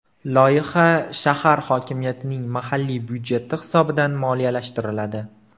Loyiha shahar hokimiyatining mahalliy byudjeti hisobidan moliyalashtiriladi.